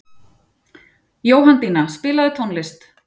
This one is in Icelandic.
Jóhanndína, spilaðu tónlist.